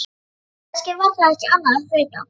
Eða kannski var það ekki annað en þreyta.